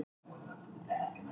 Það er eftir hornspyrnu.